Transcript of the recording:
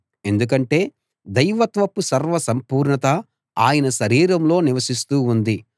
ఎందుకంటే దైవత్వపు సర్వ సంపూర్ణత ఆయన శరీరంలో నివసిస్తూ ఉంది